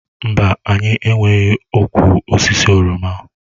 Mba, anyị enweghị ụkwụ osisi oroma.